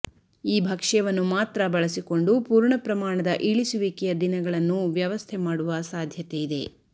ಈ ಭಕ್ಷ್ಯವನ್ನು ಮಾತ್ರ ಬಳಸಿಕೊಂಡು ಪೂರ್ಣ ಪ್ರಮಾಣದ ಇಳಿಸುವಿಕೆಯ ದಿನಗಳನ್ನು ವ್ಯವಸ್ಥೆ ಮಾಡುವ ಸಾಧ್ಯತೆಯಿದೆ